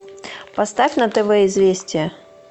поставь на тв известия